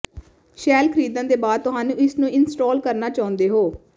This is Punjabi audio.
ਸ਼ੈੱਲ ਖਰੀਦਣ ਦੇ ਬਾਅਦ ਤੁਹਾਨੂੰ ਇਸ ਨੂੰ ਇੰਸਟਾਲ ਕਰਨਾ ਚਾਹੁੰਦੇ ਹੋ